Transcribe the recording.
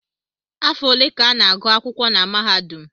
Afọ ole ka a na-agụ akwụkwọ na mahadum?